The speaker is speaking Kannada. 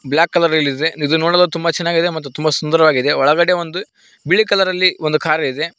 ಬ್ಲಾಕ್ ಕಲರ್ನಲ್ಲಿದೆ ಇದು ನೋಡಲು ತುಂಬಾ ಚೆನಾಗಿದೆ ಮತ್ತು ತುಂಬಾ ಸುಂದರವಾಗಿದೆ ಒಳಗಡೆ ಒಂದು ಬಿಳಿ ಕಲರಲ್ಲಿ ಒಂದು ಕಾರಿದೆ.